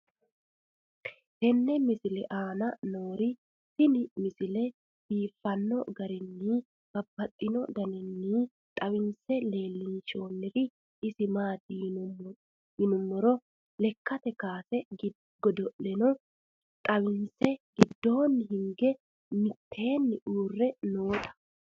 tenne misile aana noorina tini misile biiffanno garinni babaxxinno daniinni xawisse leelishanori isi maati yinummoro lekkatte kaasse godo'lanno xawinnsa gidoonni hige mittenni uure nootta